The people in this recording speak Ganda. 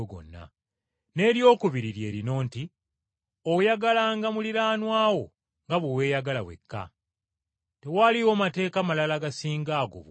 N’eryokubiri lye lino nti, ‘Oyagalanga muliraanwa wo nga bwe weeyagala wekka.’ Tewaliiwo mateeka malala gasinga ago bukulu.”